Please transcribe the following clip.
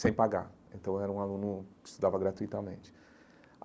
sem pagar, então eu era um aluno que estudava gratuitamente.